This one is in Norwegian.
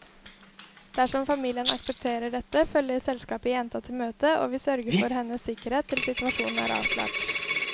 Dersom familien aksepterer dette, følger selskapet jenta til møtet, og vi sørger for hennes sikkerhet til situasjonen er avklart.